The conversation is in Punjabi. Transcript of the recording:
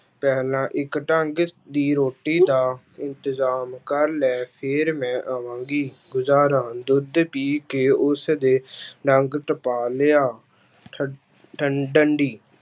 ਪਹਿਲਾਂ ਇੱਕ ਢੰਗ ਦੀ ਰੋਟੀ ਦਾ ਇੰਤਜ਼ਾਮ ਕਰ ਲੈ ਫਿਰ ਮੈਂ ਆਵਾਂਗੀ, ਗੁਜ਼ਾਰਾ ਦੁੱਧ ਪੀ ਕੇ ਉਸਦੇ ਡੰਗ ਟਪਾ ਲਿਆ, ਠ~ ਠੰ~ ਡੰਡੀ